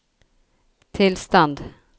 tilstand